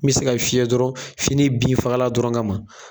N bi se ka fiyɛ dɔrɔn fini bin fakala dɔrɔn kama.